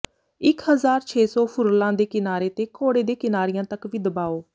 ਇੱਕ ਹਜ਼ਾਰ ਛੇ ਸੌ ਫੁਰਲਾਂ ਦੇ ਕਿਨਾਰੇ ਤੇ ਘੋੜੇ ਦੇ ਕਿਨਾਰਿਆਂ ਤਕ ਵੀ ਦਬਾਓ